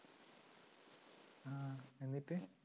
എന്നിട്ട്